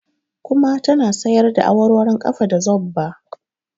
Kuma ta na sayarda awarwaron ƙafa da zobba